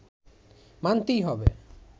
মানতেই হবে